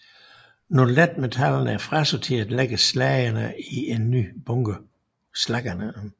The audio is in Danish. Når letmetallerne er frasorteret lægges slaggerne i en ny bunke